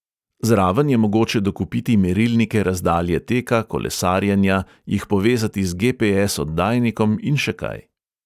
Zraven je mogoče dokupiti merilnike razdalje teka, kolesarjenja, jih povezati z GPS-oddajnikom in še kaj.